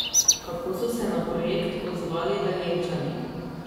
Kako so se na projekt odzvali Velenjčani?